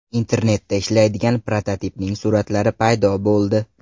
Internetda ishlaydigan prototipning suratlari paydo bo‘ldi.